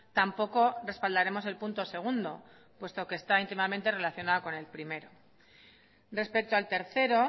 tampoco respaldaremos el punto segundo puesto que está íntimamente relacionado con el primero respecto al tercero